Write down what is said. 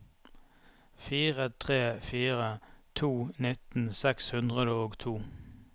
fire tre fire to nitten seks hundre og to